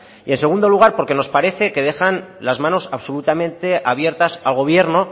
y en segundo lugar porque nos parece que dejan las manos absolutamente abiertas al gobierno